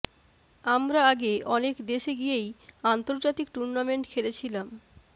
আমরা আগে অনেক দেশে গিয়েই আন্তর্জাতিক টুর্নামেন্ট খেলেছিলাম